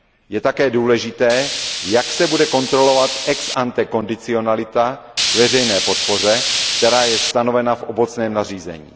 Je také důležité, jak se bude kontrolovat ex ante kondicionalita k veřejné podpoře, která je stanovena v obecném nařízení.